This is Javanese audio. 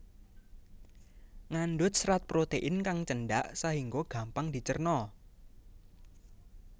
Ngandut serat protein kang cendak sahingga gampang dicerna